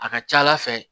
A ka ca ala fɛ